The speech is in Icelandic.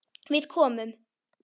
Við komum.